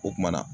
O kumana